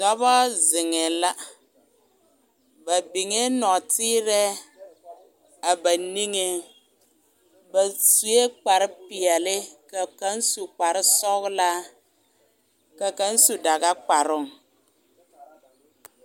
Dɔba zeŋɛ la ba niŋɛ nɔɔteree a ba niŋɛ ba sue kpare pɛɛle ka kaŋ su kpare sɔglaa ka kaŋ su daga kparoo